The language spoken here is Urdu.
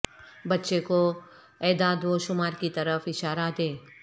بچے کو اعداد و شمار کی طرف اشارہ دیں